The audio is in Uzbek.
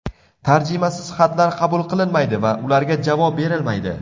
Tarjimasiz xatlar qabul qilinmaydi va ularga javob berilmaydi.